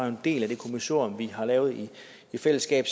en del af det kommissorium vi har lavet i fællesskab